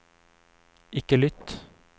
ikke lytt